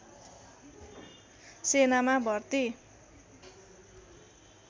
सेनामा भर्ती